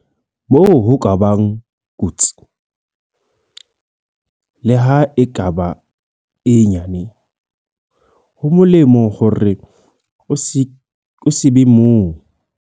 Moo ho ka bang kotsi, leha e ka ba e nyane, ho molemo hore o se be moo.